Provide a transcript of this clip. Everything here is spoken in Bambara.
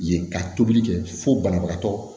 Yen ka tobili kɛ fo banabagatɔ